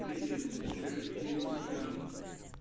привет покажи телепрограмму